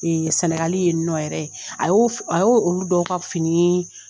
Ee sɛnɛgali ye nɔ yɛrɛ a y'o a y' olu dɔ ka fini